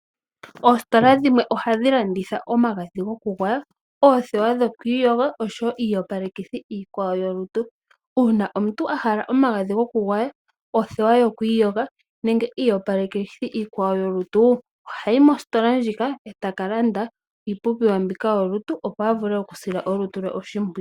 Oositola dhimwe ohadhi landitha omagadhi gokugwaya, oothewa dhoku iyoga oshowo iiyopalethi iikwawo yolutu. Uuna omuntu a hala omagadhi gokugwaya, othewa yoku iyoga nenge iiyopalethi iikwawo yolutu ohayi mositola ndjika e ta ka landa iipumbiwa mbika yolutu opo a vule okusila olutu lwe oshimpwiyu.